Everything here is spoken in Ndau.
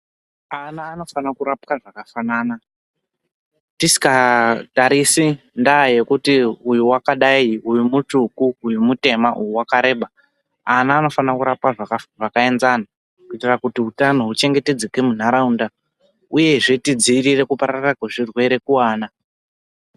Ana anofana kurapwa zvakafanana tisikatarisi ndaya yekuti uyu wakadai, uyu mutsvuku, uyu mutema, uyu wakareba . Ana anofana kurapwa zvakaenzana kuitira kuti hutano huchengetedzeke muntaraunda uyezve tidzivirire kupararira kwezvirwere kuvana.